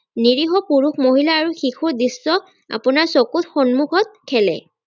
নিৰীহ পুৰুষ মহিলা আৰু শিশুৰ দৃশ্য আপোনাৰ চকুৰ সন্মুখত খেলে